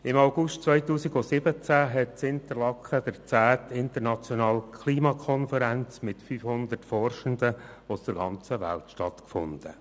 Im August 2017 hat in Interlaken die 10. Internationale Klimakonferenz mit 500 Forschenden aus der ganzen Welt stattgefunden.